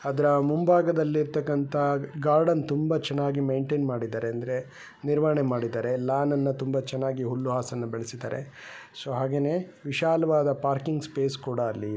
ಅದರ ಮುಂದುಗಡೆ ಇರುತ್ತಾಕಂತಹ ಗಾರ್ಡನ್ ತುಂಬಾ ಚೆನ್ನಾಗಿ ಮೇನ್ಟೇನ್ ಮಾಡಿದ್ದಾರೆ ಅಂದರೆ ತುಂಬಾ ಚೆನ್ನಾಗಿ ನಿರ್ವಹಣೆ ಮಾಡಿದ್ದಾರೆ ಅಲ್ಲಿ ಇರುವ ಲಾನ್ ತುಂಬಾ ಹುಲ್ಲನ್ನು ಬೆಳೆಸಿದ್ದಾರೆ ಸೊ ಚೆನ್ನಾಗಿದೆ